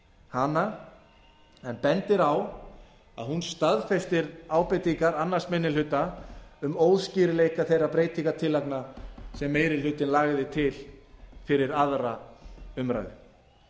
hana en bendir á að hún staðfestir ábendingar annar minni hluta um óskýrleika þeirra breytingartillagna sem meiri hlutinn lagði til fyrir aðra umræðu